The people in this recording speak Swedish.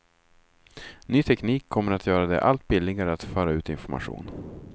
Ny teknik kommer att göra det allt billigare att föra ut information.